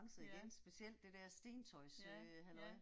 Ja. Ja, ja